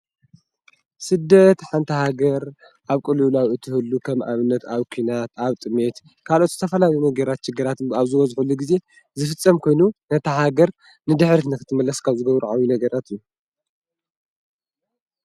ስደት ሓንቲ ሃገር ኣብ ቅልውላው እትህሉ ከም ኣብነት ኣብ ኩናት ኣብ ጥሜት ካልኦት ዝተፈላለዩ ሽግራት ኣብ ዝበዝሕሉ ጊዜ ዝፍፀም ኮይኑ ነታ ሃገር ንድሕሪት ንኽትምለስ ካብ ዝገብሩ ዓብይ ነገራት እዩ፡፡